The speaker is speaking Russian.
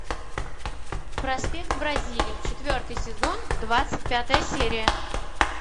проспект бразилии четвертый сезон двадцать пятая серия